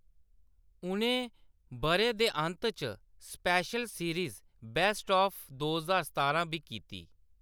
उʼनें बʼरे दे अंत च स्पेशल सीरीज़, बेस्ट ऑफ दो ज्हार सतारां बी कीती।